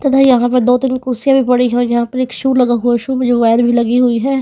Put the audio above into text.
तथा यहाँ पे दो तीन कुर्सीयां भी पड़ी हैं और यहाँ पर एक शु लगा हुआ शु मे जो वायर भी लगी हुई है।